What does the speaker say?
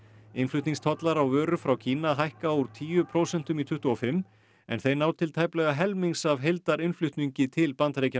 innflutningstollar á vörur frá Kína hækka úr tíu prósentum í tuttugu og fimm en þeir ná til tæplega helmings af heildarinnflutningi til Bandaríkjanna